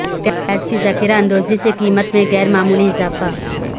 پیاز کی ذخیرہ اندوزی سے قیمت میں غیر معمولی اضافہ